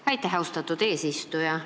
Aitäh, austatud eesistuja!